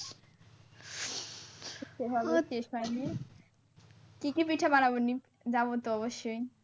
যাব তো অবশ্যই।